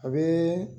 A bɛ